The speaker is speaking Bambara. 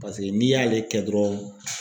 Paseke n'i y'ale kɛ dɔrɔn